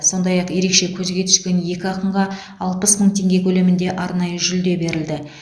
сондай ақ ерекше көзге түскен екі ақынға алпыс мың теңге көлемінде арнайы жүлде берілді